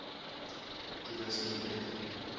toerismewette